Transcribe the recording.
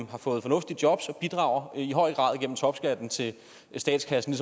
har fået fornuftige jobs og bidrager i høj grad igennem topskatten til statskassen